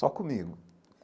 Só comigo.